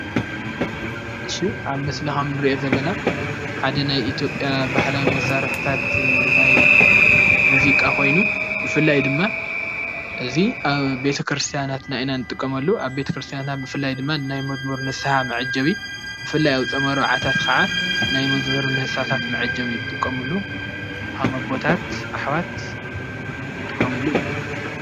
እሺ ኣብ ምስሊ ከምእንሪኦ ዘለና ሓደ ናይ ኢትዮጵያ ባህላዊ መሳርሕታት ናይ ሙዚቃ ኾይኑ ብፍላይ ድማ እዚ ኣብ ቤተ-ክርስያናትና ኢና ንጥቀመሉ፡ ኣብ ቤተ-ክርስትያና ብፍላይ ናይ መዝሙር ንስሃ መዐጀቢ ብፍላይ ኣብ ፆም ኣርባዓታት ኸዓ ናይ መዝሙር ንስሃታት መዐጀቢ እዩ ዝጥቀምሉ ከም ኣቦታት ኣሕዋት ዝጥቀምሉ እዩ፡፡